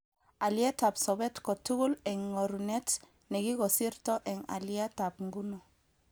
Alietab sobet kotugul eng ngorunet nekikosirto eng alitab nguno